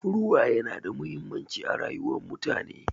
Ruwa yana da mahimmanci a rayuwar mutane.